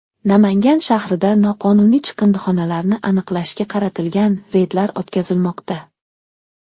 Namangan shahrida noqonuniy chiqindixonalarni aniqlashga qaratilgan reydlar o‘tkazilmoqda.